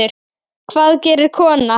Hvað gerir kona?